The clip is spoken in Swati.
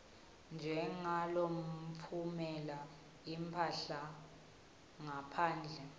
njengalotfumela imphahla ngaphandle